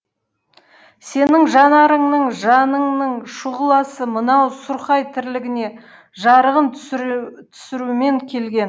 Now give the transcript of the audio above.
сенің жанарыңның жаныңның шұғыласы мынау сұрқай тірлігіне жарығын түсірумен келген